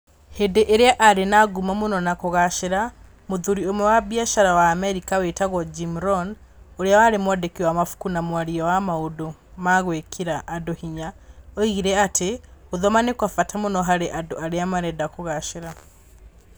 Hĩndĩ ĩrĩa aarĩ na ngumo mũno na kũgaacĩra, mũhũri ũmwe wa biacara wa Amerika wĩtagwo Jim Rohn, ũrĩa warĩ mwandĩki wa mabuku na mwaria wa maũndũ ma gwekĩra andũ hinya , oigire atĩ "gũthoma nĩ kwa bata mũno harĩ andũ arĩa marenda kũgacira".